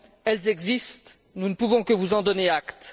Elles existent, nous ne pouvons que vous en donner acte.